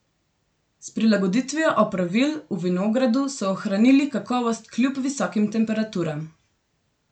S prilagoditvijo opravil v vinogradu so ohranili kakovost kljub visokim temperaturam.